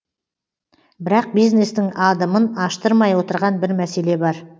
бірақ бизнестің адымын аштырмай отырған бір мәселе бар